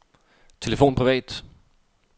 telefon privat